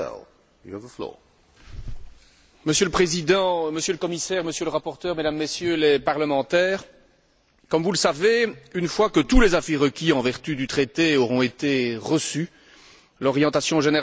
Monsieur le Président, Monsieur le Commissaire, Monsieur le rapporteur, Mesdames et Messieurs les parlementaires, comme vous le savez, une fois que tous les avis requis en vertu du traité auront été reçus, l'orientation générale du Conseil fera l'objet d'un réexamen.